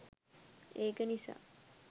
ඒක නිසා